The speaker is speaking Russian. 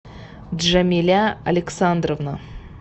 джамиля александровна